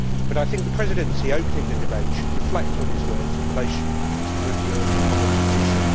However, I think the President in Office opening the debate should reflect on his words in relation to the review of the common position.